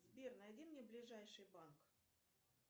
сбер найди мне ближайший банк